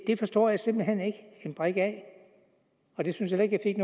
det forstår jeg simpelt hen ikke en brik af jeg synes heller ikke